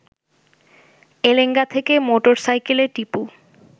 এলেঙ্গা থেকে মোটর সাইকেলে টিপু